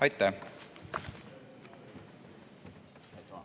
Aitäh!